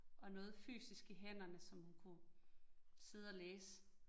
Og noget fysisk i hænderne, som hun kunne sidde og læse